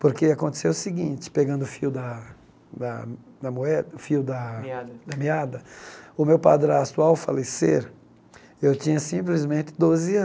Porque aconteceu o seguinte, pegando o fio da da da moeda, o fio da Da meada da meada, o meu padrasto, ao falecer, eu tinha simplesmente doze